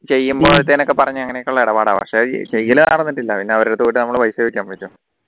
ചെയ്യുമ്പോഴത്തേനും ഒക്കെ പറഞ്ഞ് അങ്ങനെ ഒക്കെ ഉള്ള ഇടപാടാണ് ഉള്ള പക്ഷേ ചെയ്യല് നടന്നിട്ടില്ല പിന്നെ അവരടുത്ത് പോയിട്ട് നമുക്ക് പൈസ ചോദിക്കാൻ പറ്റുമോ